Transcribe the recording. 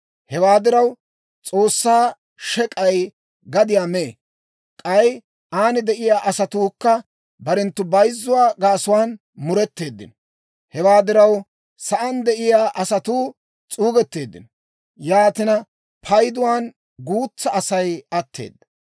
Hewaa diraw, S'oossaa shek'ay gadiyaa mee; k'ay aan de'iyaa asatuukka barenttu bayzzuwaa gaasuwaan mureteeddino. Hewaa diraw, sa'aan de'iyaa asatuu s'uugetteeddino; yaatina payduwaan guutsaa Asay atteeda.